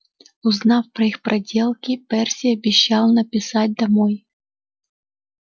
узнав про их проделки перси обещал написать домой